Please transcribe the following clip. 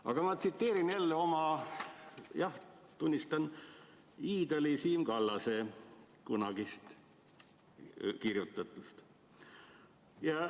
Aga ma tsiteerin jälle oma – jah, tunnistan – iidoli Siim Kallase kunagi kirjutatut.